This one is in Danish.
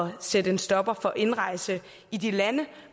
at sætte en stopper for indrejse i de lande